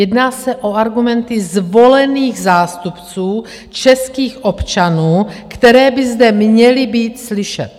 Jedná se o argumenty zvolených zástupců českých občanů, které by zde měly být slyšet.